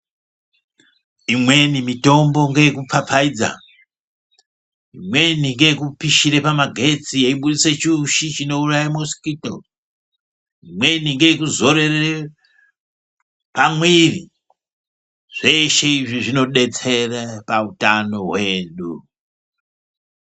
Imweni mitombo ngeye kupfapfaidza imweni ngeye kupishira pamagetsi yeibudisa chiushi chinouraya mosikito, imweni ngekuzorerere pamwiri. Zveshe izvi zvinobetsere pahutano hwedu.